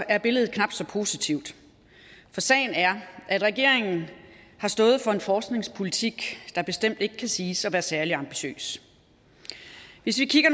er billedet knap så positivt for sagen er at regeringen har stået for en forskningspolitik der bestemt ikke kan siges at være særlig ambitiøs hvis vi kigger